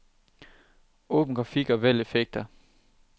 Åbn grafik og vælg effekter.